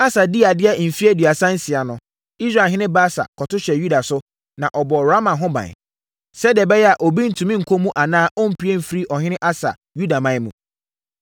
Asa dii adeɛ mfeɛ aduasa nsia no, Israelhene Baasa kɔto hyɛɛ Yuda so, na ɔbɔɔ Rama ho ban, sɛdeɛ ɛbɛyɛ a, obi ntumi nkɔ mu anaa ɔmpue mfiri ɔhene Asa Yudaman mu.